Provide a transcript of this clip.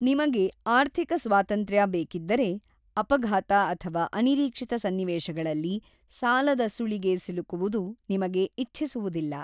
ನಿಮಗೆ ಆರ್ಥಿಕ ಸ್ವಾತಂತ್ರ್ಯ ಬೇಕಿದ್ದರೆ, ಅಪಘಾತ ಅಥವಾ ಅನಿರೀಕ್ಷಿತ ಸನ್ನಿವೇಶಗಳಲ್ಲಿ ಸಾಲದ ಸುಳಿಗೆ ಸಿಲುಕುವುದು ನಿಮಗೆ ಇಚ್ಛಿಸುವುದಿಲ್ಲ.